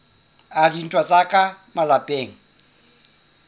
a dintwa tsa ka malapeng